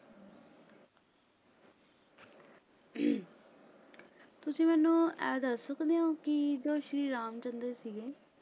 ਤੁਸੀਂ ਮੈਨੂੰ ਇਹ ਦਾ ਸਕਦੇ ਹੋ ਕਿ ਜੋ ਸ਼੍ਰੀ ਰਾਮ ਚੰਦਰ ਸੀਗੇ